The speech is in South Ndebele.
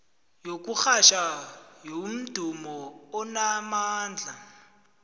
yokurhatjha yomdumo onamandla